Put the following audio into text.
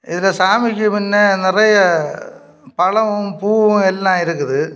இந்த சாமிக்கு மின்ன நெறைய பழமும் பூவும் எல்லா இருக்குது.